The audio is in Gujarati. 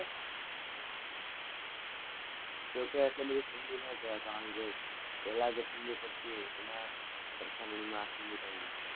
જોકે આટલી બધી ઠંડી ના કે'વાય કારણ કે પેલા જે ઠંડી પડતી એના સરખામણીમાં આ ઠંડી કાઈ ના કે'વાય.